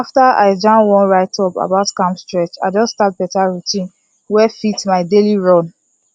after i jam one writeup about calm stretch i just start better routine wey fit my daily run